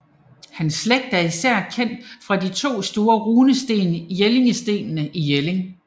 Hans slægt er især kendt fra de to store runesten Jellingstenene i Jelling